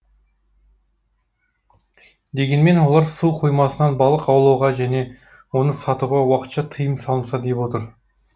дегенмен олар су қоймасынан балық аулауға және оны сатуға уақытша тыйым салынса деп отыр